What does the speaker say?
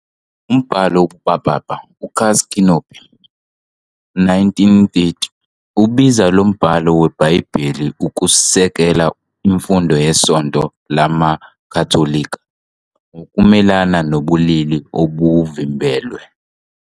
Umbhalo wobupapa "uCasti connubii", 1930, ubiza lo mbhalo weBhayibheli ukusekela imfundiso yeSonto LamaKatolika ngokumelene nobulili obuvimbelwe.